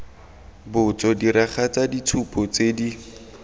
botso diragatsa ditshupo tse di